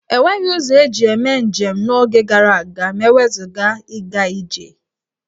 E nweghi ụzọ eji eme njem n'oge gara aga ma e wezụga ịga ije.